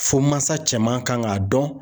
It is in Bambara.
Fo mansa cɛman kan k'a dɔn.